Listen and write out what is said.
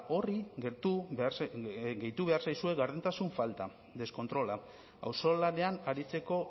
horri gertu behar zaizue gardentasun falta deskontrola auzolanean aritzeko